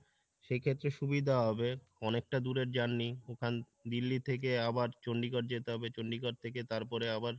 সেই ক্ষেত্রে সুবিধা হবে অনেকটা দূরের journey ওখান দিল্লি থেকে আবার চণ্ডীগড় যেতে হবে চণ্ডীগড় থেকে তারপরে আবার